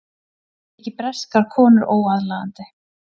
Þykir breskar konur óaðlaðandi